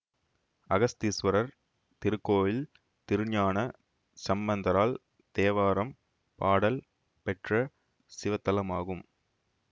அகஸ்தீஸ்வரர் திருக்கோயில் திருஞான சம்பந்தரால் தேவாரம் பாடல் பெற்ற சிவத்தலமாகும்